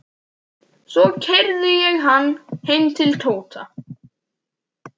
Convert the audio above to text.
Svo keyrði ég hann heim til Tóta.